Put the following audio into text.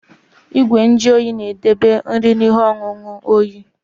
Igwe nju oyi na-edobe nri na ihe ọṅụṅụ oyi.